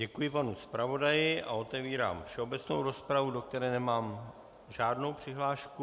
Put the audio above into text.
Děkuji panu zpravodaji a otevírám všeobecnou rozpravu, do které nemám žádnou přihlášku.